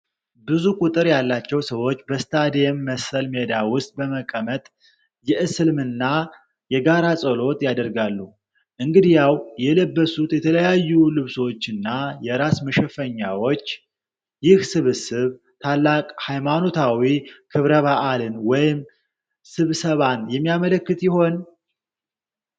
ብዙ ቁጥር ያላቸው ሰዎች በስታዲየም መሰል ሜዳ ውስጥ በመቀመጥ የእስልምና የጋራ ጸሎት ያደርጋሉ፤ እንግዲያው፣ የለበሱት የተለያዩ ልብሶችና የራስ መሸፈኛዎች ይህ ስብስብ ታላቅ ሃይማኖታዊ ክብረ በዓልን ወይም ስብሰባን የሚያመለክት ይሆን?